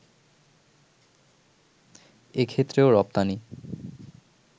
এক্ষেত্রেও রপ্তানি